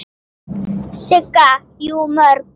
Sigga: Jú, mjög.